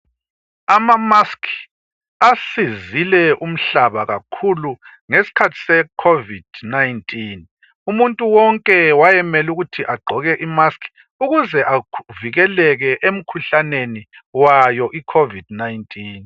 Ama musk asizile umhlaba kakhulu ngesikhathi secovid 19 umuntu wonke wayemele ukuthi agqoke imask ukuze avikeleke emkhuhlaneni wayo I COVID 19